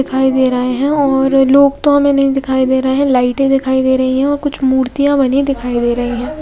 दिखाई दे रहे हैं और लोग तो हमें नहीं दिखाई दे रहे हैं लाइटे दिखाई दे रही हो कुछ मूर्तियां बनी दिखाई दे रही है।